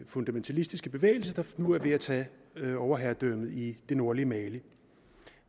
fundamentalistiske bevægelse der nu er ved at tage overherredømmet i det nordlige mali